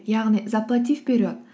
яғни заплати вперед